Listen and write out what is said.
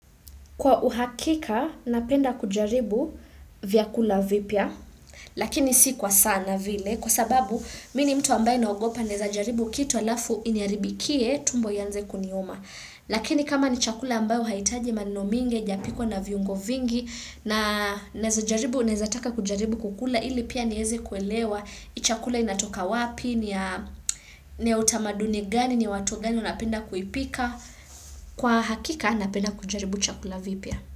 Kwa uhakika, napenda kujaribu vyakula vipya, lakini si kwa sana vile, kwa sababu mimi ni mtu ambaye naogopa naeza jaribu kitu alafu iniharibikie tumbo ianze kuniuma. Lakini kama ni chakula ambayo haihitaji maneno mingi, haijapikwa na viungo vingi, na naezajaribu naezataka kujaribu kukula ili pia nieze kuelewa, ni chakula inatoka wapi, ni ya utamaduni gani, ni ya watu gani wanapenda kuipika, kwa hakika napenda kujaribu chakula vipya.